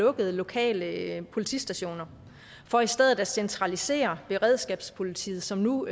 lukket lokale politistationer for i stedet at centralisere beredskabspolitiet som nu